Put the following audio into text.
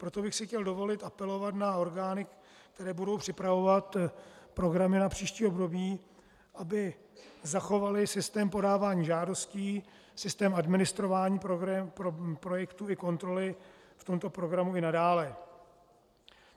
Proto bych si chtěl dovolit apelovat na orgány, které budou připravovat programy na příští období, aby zachovaly systém podávání žádostí, systém administrování projektů i kontroly v tomto programu i nadále.